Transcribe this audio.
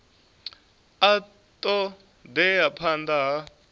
a ṱo ḓea phanḓa ha